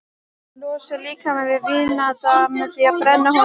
Losar líkamann við vínandann með því að brenna honum.